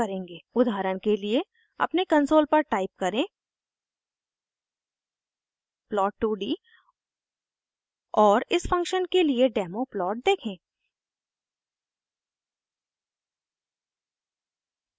उदाहरण के लिए अपने कंसोल पर टाइप करें plot 2d और इस फंक्शन के लिए डेमो प्लॉट देखें